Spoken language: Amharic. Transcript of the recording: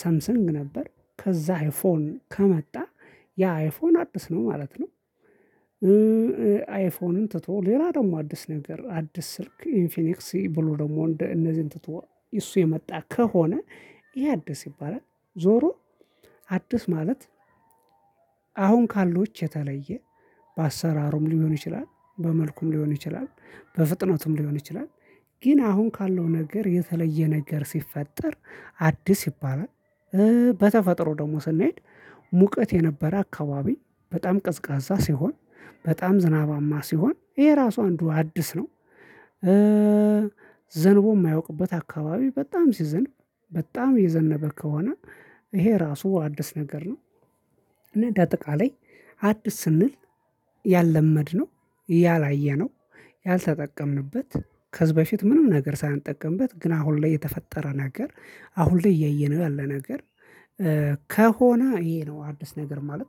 ሳምሰንግ ነበር ከዛ አይፎን ከመጣ ያ አይፎን አዲስ ነው ማለት ነው። አይፎንን ትቶ ሌላ ደግሞ አዲስ ነገር አዲስ ስልክ ኢንፊኒክስ ብሎ ደግሞ እንደ እነዚህን ትቶ እሱ የመጣ ከሆነ ይሄ አዲስ ይባላል። ዞሮ አዲስ ማለት አሁን ካሉት የተለየ በአሰራሩም ሊሆን ይችላል በመልኩም ሊሆን ይችላል። በፍጥነቱም ሊሆን ይችላል። ግን አሁን ካለው ነገር የተለየ ነገር ሲፈጠር አዲስ ይባላል። በተፈጥሮ ደግሞ ስንሄድ ሙቀት የነበረ አካባቢ በጣም ቅዝቃዛ ሲሆን በጣም ዝናባማ ሲሆን ይሄ ራሱ አንዱ አዲስ ነው። ዘንቦ የማያውቅበት አካባቢ በጣም ሲዘንብ በጣም የዘነበ ከሆነ ይሄ ራሱ አዲስ ነገር ነው። እና እንደ አጠቃላይ አዲስ ስንል ያልለመድነው ያላየነው ያልተጠቀምንበት ከዚህ በፊት ምንም ነገር ሳንጠቀምበት ግን አሁን ላይ የተፈጠረ ነገር አሁን ላይ እየየነው ያለ ነገር ከሆነ ይሄ ነው አዲስ ነገር ማለት